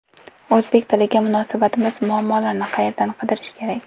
O‘zbek tiliga munosabatimiz: muammolarni qayerdan qidirish kerak?.